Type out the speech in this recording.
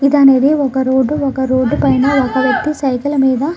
ఇది అనేది ఒక రోడ్డు ఒక రోడ్డు పైన ఒక వ్యక్తి సైకిల్ మీద --